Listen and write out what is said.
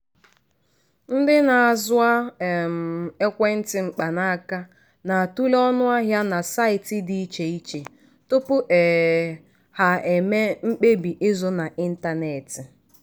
ndị na-azụ um ekwentị mkpanaka na-atule ọnụahịa na saịtị dị iche iche tupu um ha emee mkpebi ịzụ n'ịntanetị.